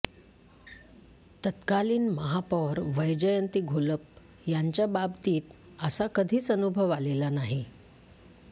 तत्कालीन महापौर वैजयंती घोलप यांच्या बाबतीत असा कधीच अनुभव आलेला नाही